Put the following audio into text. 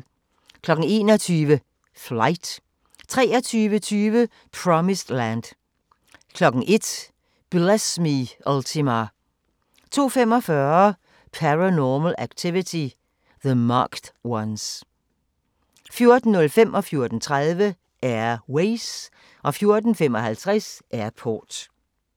21:00: Flight 23:20: Promised Land 01:00: Bless Me, Ultima 02:45: Paranormal Activity: The Marked Ones 04:05: Air Ways 04:30: Air Ways 04:55: Airport